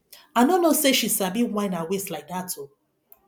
i no no know say she sabi whine her waist like dat oo